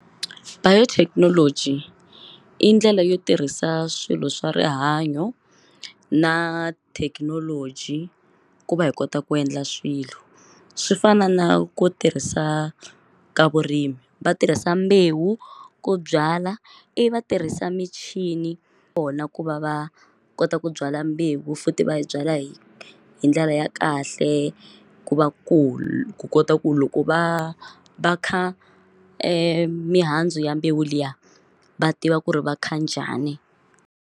Biotechnology i ndlela yo tirhisa swilo swa rihanyo na thekinoloji ku va hi kota ku endla swilo swi fana na ku tirhisa ka vurimi va tirhisa mbewu ku byala i va tirhisa michini kona ku va va kota ku byala mbewu futhi va yi byala hi hi ndlela ya kahle ku va ku kota ku loko va va kha mihandzu ya mbewu liya va tiva ku ri va kha njhani.